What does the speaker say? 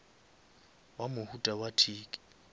wa mohuta wa tic